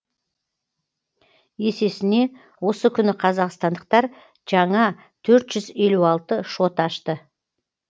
есесіне осы күні қазақстандықтар жаңа төрт жүз елу алты шот ашты